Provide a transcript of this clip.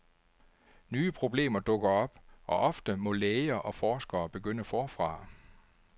Nye problemer dukker op, og ofte må læger og forskere begynde forfra.